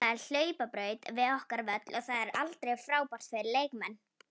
Það er hlaupabraut við okkar völl og það er aldrei frábært fyrir leikmenn.